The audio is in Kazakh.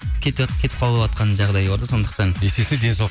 кетіп қалыватқан жағдай бар да сондықтан есесіне ден сау